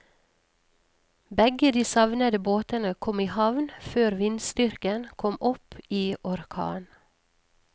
Begge de savnede båtene kom i havn før vindstyrken kom opp i orkan.